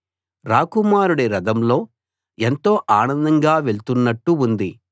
రాకుమారుడి రథంలో ఎంతో ఆనందంగా వెళ్తున్ననట్టు ఉంది